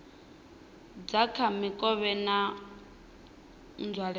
dza kha mikovhe na nzwalelo